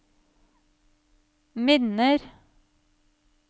minner